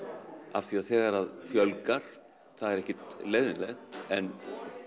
af því að þegar fjölgar það er ekkert leiðinlegt en